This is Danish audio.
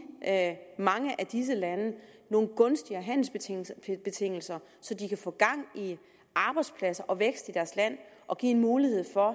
mange af disse lande nogle gunstigere handelsbetingelser så de kan få gang i arbejdspladser og vækst i deres land og give en mulighed for at